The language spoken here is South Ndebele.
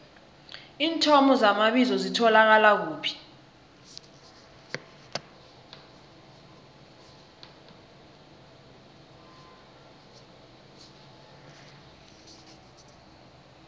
iinthomo zamabizo zitholakala kuphi